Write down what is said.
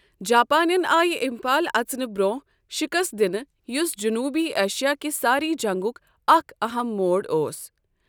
جاپانین آیہِ امپھال اژنہٕ برۅنٛہہ شکست دِنہٕ یُس جنوبی ایشیا کہِ سارے جنگُک اکھ اہم موڑ اوس۔